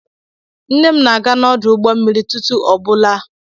Nne m na-aga n'ọdụ ụgbọ mmiri ụtụtụ ọ bụla.